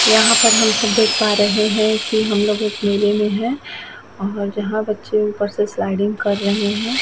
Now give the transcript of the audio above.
यहाँ पर हम सब देख पा रहे हैं की हम लोग एक मेले में हैं और जहाँ बच्चे ऊपर से स्लाइडिंग कर रहे हैं।